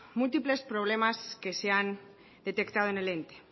múltiples problemas que se han detectado en el ente